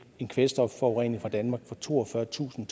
en kvælstofforurening fra danmark på toogfyrretusind